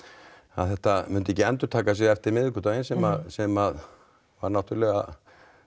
þetta myndi ekki endurtaka sig eftir miðvikudaginn sem sem var náttúrulega